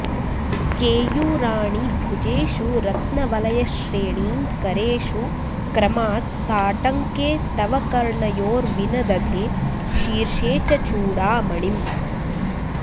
केयूराणि भुजेषु रत्नवलयश्रेणीं करेषु क्रमात् ताटङ्के तव कर्णयोर्विनदधे शीर्षे च चूडामणिम्